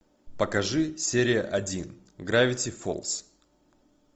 покажи серия один гравити фолз